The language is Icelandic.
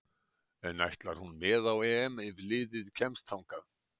En ætlar hún með á EM ef liðið kemst þangað?